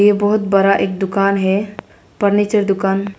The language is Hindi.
यह बहोत बड़ा एक दुकान है फर्नीचर दुकान--